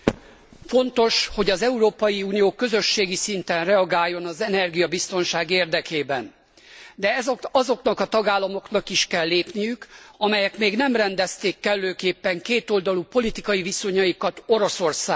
Fontos, hogy az Európai Unió közösségi szinten reagáljon az energiabiztonság érdekében, de azoknak a tagállamoknak is kell lépniük, amelyek még nem rendezték kellőképpen kétoldalú politikai viszonyaikat Oroszországgal.